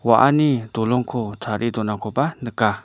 wa·ani dolongko tarie donakoba nika.